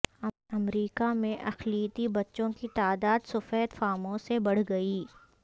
امریکہ میں اقلیتی بچوں کی تعداد سفید فاموں سے بڑھ گئی